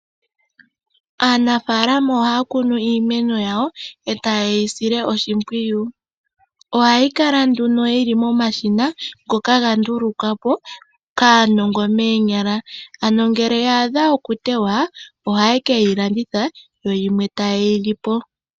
Aanafaalama ohaya kunu iimeno yawo e taye yi sile oshimpwiyu. Ohayi kala nduno yili momashina ngoka gandulukwa po kaanongomoonyala ano ngele ya a dhwa okutewa ohaye keyi landitha yoyimwe taye yi li po.